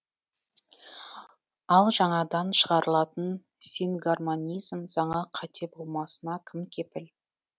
ал жаңадан шығарылатын сингармонизм заңы қате болмасына кім кепіл